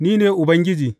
Ni ne Ubangiji.’